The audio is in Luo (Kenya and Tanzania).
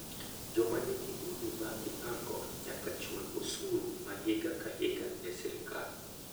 Joma nigi udi ma ipango nyaka chul osuru ma higa ka higa ne sirkal.